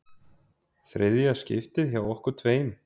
Þriðja skiptið hjá okkur tveim.